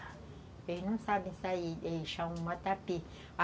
Eles não sabem sair,